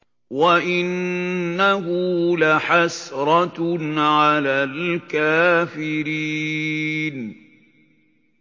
وَإِنَّهُ لَحَسْرَةٌ عَلَى الْكَافِرِينَ